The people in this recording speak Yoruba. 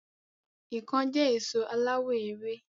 Ikán jẹ́ èso aláwọ èwe